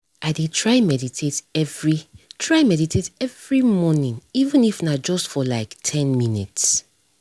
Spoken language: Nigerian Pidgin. i dey try meditate every try meditate every morning even if na just for like ten minutes